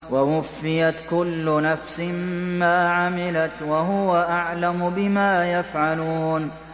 وَوُفِّيَتْ كُلُّ نَفْسٍ مَّا عَمِلَتْ وَهُوَ أَعْلَمُ بِمَا يَفْعَلُونَ